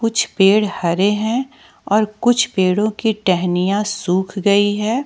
कुछ पेड़ हरे हैं और कुछ पेड़ो की टहनियां सुख गई हैं।